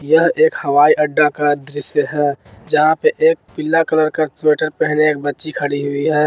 यह एक हवाई अड्डा का दृश्य है जहां पे एक पीला कलर का स्वेटर पहने एक बच्ची खड़ी हुई है।